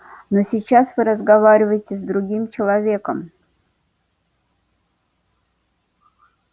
но сейчас вы разговариваете с другим человеком